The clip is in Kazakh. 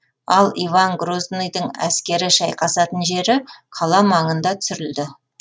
ал иван грозныйдың әскері шайқасатын жері қала маңында түсірілді